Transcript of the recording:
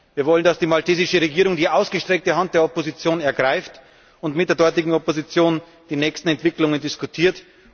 Wir wollen, dass die maltesische Regierung die ausgestreckte Hand der Opposition ergreift und mit der dortigen Opposition die nächsten Entwicklungen diskutiert.